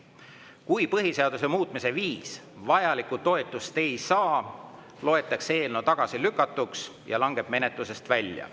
Kui põhiseaduse muutmise viis vajalikku toetust ei saa, loetakse eelnõu tagasilükatuks ja langeb menetlusest välja.